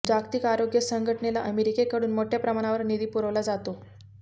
जागतिक आरोग्य संघटनेला अमेरिकेकडून मोठ्याप्रमाणावर निधी पुरवला जातो